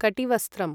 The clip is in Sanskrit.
कटिवस्त्रम्